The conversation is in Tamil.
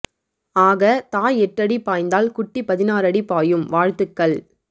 ஆக தாய் எட்டு அடி பாய்ந்தால் குட்டி பதினாறு அடி பாயும் வாழ்த்துக்கள்